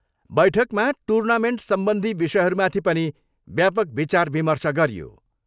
बैठकमा टुर्नामेन्टसम्बधी विषयहरूमाथि पनि व्यापक विचार विर्मश गरियो।